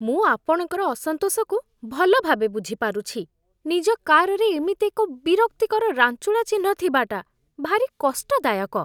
ମୁଁ ଆପଣଙ୍କର ଅସନ୍ତୋଷକୁ ଭଲ ଭାବେ ବୁଝିପାରୁଛି। ନିଜ କାର୍‌ରେ ଏମିତି ଏକ ବିରକ୍ତିକର ରାଞ୍ଚୁଡ଼ା ଚିହ୍ନ ଥିବାଟା ଭାରି କଷ୍ଟଦାୟକ।